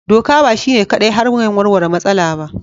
Doka ba shi ne kaɗai hanyar warware matsala ba.